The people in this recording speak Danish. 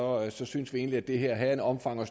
og så syntes vi egentlig at det her havde et omfang